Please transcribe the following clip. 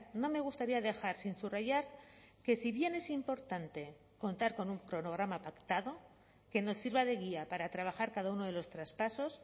no me gustaría dejar sin subrayar que si bien es importante contar con un cronograma pactado que nos sirva de guía para trabajar cada uno de los traspasos